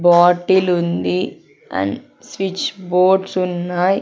Bottle ఉంది and switch boards ఉన్నాయ్.